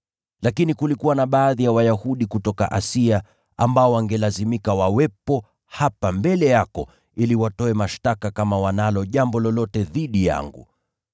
Lakini kulikuwa na baadhi ya Wayahudi kutoka Asia, ambao wangelazimika wawepo hapa mbele yako ili watoe mashtaka kama wanalo jambo lolote dhidi yangu.